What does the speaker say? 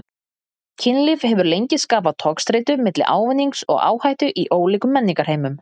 Kynlíf hefur lengi skapað togstreitu milli ávinnings og áhættu í ólíkum menningarheimum.